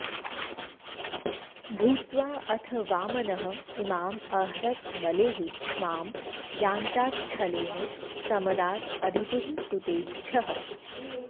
भूत्वा अथ वामनः इमाम् अहरत् बलेः क्ष्माम् याञ्चाच्छलेन समदात् अदितेः सुतेभ्यः